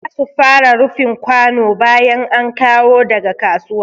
Za su fara rufin kwano bayan an kawo daga kasuwa.